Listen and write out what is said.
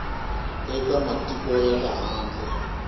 eka matiko ya le handle